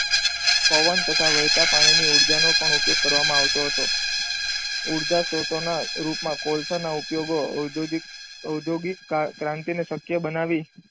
પવન તથા વહેતા પાણીની ઉર્જા નો પણ ઉપયોગ કરવામાં આવતો હતો. ઉર્જા સ્ત્રોતોના રૂપમાં કોલસાના ઉપયોગો ઔદ્યોગિક ઔદ્યોગિક ક્રાંતિને શક્ય બનાવી.